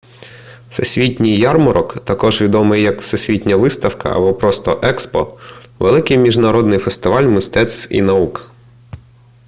всесвітній ярмарок також відомий як всесвітня виставка або просто експо — великий міжнародний фестиваль мистецтв і наук